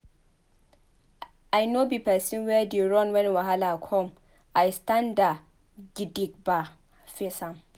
I nor be pesin wey dey run wen wahala come I standa gidigba face am.